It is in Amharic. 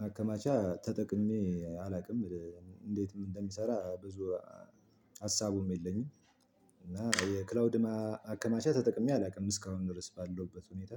ማከማቻ ተጠቅሜ አላውቅም። እንዴትም እንደሚሰራ ብዙ ሀሳቡም የለኝም። እና የክላውድ ማከማቻ ተጠቅሜ አላውቅም እስካሁን ድረስ ባለሁበት ሁኔታ።